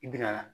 I bi na